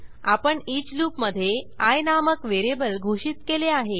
आपण eachलूपमधे आय नामक व्हेरिएबल घोषित केले आहे